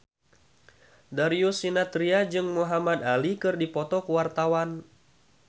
Darius Sinathrya jeung Muhamad Ali keur dipoto ku wartawan